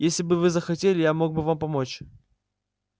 если бы вы захотели я мог бы вам помочь